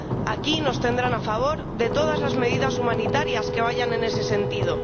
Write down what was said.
Aquí nos tendrán a favor de todas las medidas humanitarias que vayan en ese sentido.